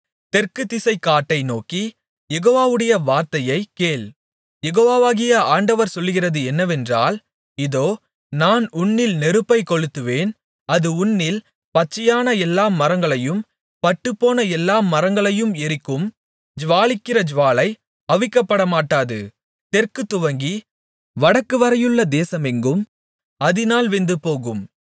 தெற்குதிசைக்காட்டை நோக்கி யெகோவாவுடைய வார்த்தையைக் கேள் யெகோவாகிய ஆண்டவர் சொல்லுகிறது என்னவென்றால் இதோ நான் உன்னில் நெருப்பை கொளுத்துவேன் அது உன்னில் பச்சையான எல்லா மரங்களையும் பட்டுப்போன எல்லா மரங்களையும் எரிக்கும் ஜூவாலிக்கிற ஜூவாலை அவிக்கப்படமாட்டாது தெற்கு துவக்கி வடக்குவரையுள்ள தேசமெங்கும் அதினால் வெந்துபோகும்